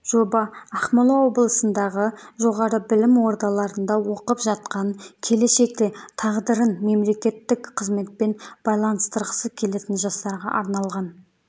жоба ақмола облысындағы жоғары білім ордаларында оқып жатқан келешекте тағдырын мемлекеттік қызметпен байланыстырғысы келетін жастарға арналған